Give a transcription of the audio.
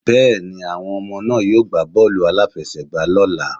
Bẹ́ẹ̀ni, àwọn ọmọ náà yóò gbá bọ́ọ̀lù-aláfẹ́sẹ̀gbà lọ́ la.